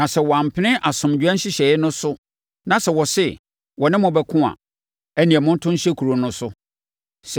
Na sɛ wɔampene asomdwoeɛ nhyehyɛeɛ no so na sɛ wɔse wɔne mo bɛko a, ɛnneɛ, monto nhyɛ kuro no so.